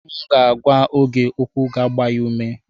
M ga agwa Oge okwụ agba ya ume.